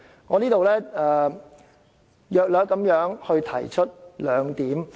我在此大約提出兩點。